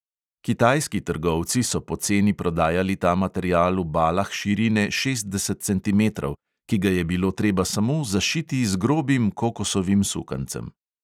Kitajski trgovci so poceni prodajali ta material v balah širine šestdeset centimetrov, ki ga je bilo treba samo zašiti z grobim kokosovim sukancem.